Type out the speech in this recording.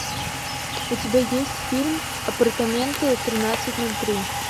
у тебя есть фильм апартаменты тринадцать ноль три